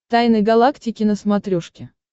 тайны галактики на смотрешке